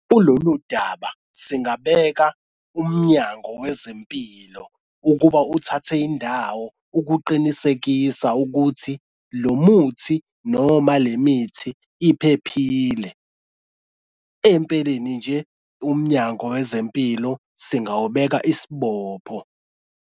Kulolu daba singabeka umnyango wezempilo ukuba uthathe indawo ukuqinisekisa ukuthi lo muthi noma le mithi iphephile. Empeleni nje umnyango wezempilo singawubeka isibopho.